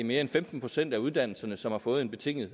mere end femten procent af uddannelserne som har fået en betinget